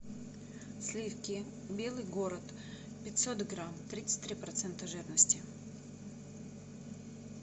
сливки белый город пятьсот грамм тридцать три процента жирности